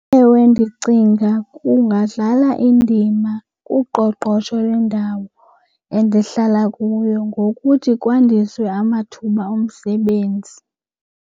Ewe, ndicinga kungadlala indima kuqoqosho lwendawo endihlala kuyo ngokuthi kwandiswe amathuba omsebenzi.